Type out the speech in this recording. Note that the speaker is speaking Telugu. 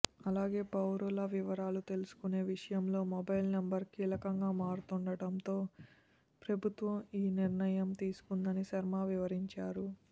అలాగే పౌరుల వివరాలు తెలుసుకునే విషయంలో మొబైల్ నెంబర్ కీలకంగా మారుతుండడంతో ప్రభుత్వం ఈ నిర్ణయం తీసుకుందని శర్మ వివరించారు